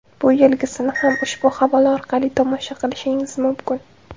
Bu yilgisini ham ushbu havola orqali tomosha qilishingiz mumkin .